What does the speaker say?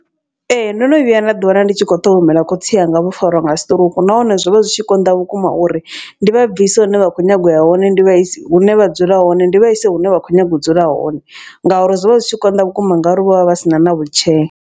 Ee ndono vhuya nda ḓi wana ndi tshi kho ṱhogomela khotsi anga vho fariwa nga stroke. Nahone zwo vha zwi tshi konḓa vhukuma uri ndi vha bvise hune vha kho nyago ya hone ndi vha isa hune vha dzula hone ndi vha ise hune vha kho nyaga u dzula hone. Ngauri zwo vha zwi tshi konḓa vhukuma ngauri vho vha vha sina na wheelchair.